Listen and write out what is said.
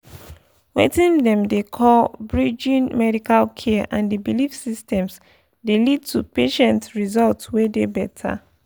weting dem dey call pause— bridging pause medical care and the belief systems dey lead to patient results wey dey better.